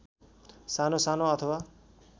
सानो सानो अथवा